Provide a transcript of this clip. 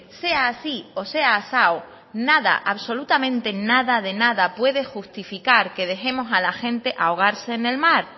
sea así o sea asao nada absolutamente nada de nada puede justificar que dejemos a la gente ahogarse en el mar